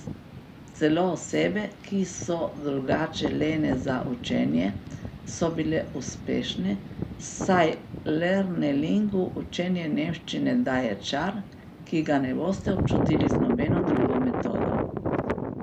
Celo osebe, ki so drugače lene za učenje, so bile uspešne, saj Lernelingu učenju nemščine daje čar, ki ga ne boste občutili z nobeno drugo metodo.